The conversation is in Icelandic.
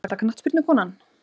Besta knattspyrnukonan?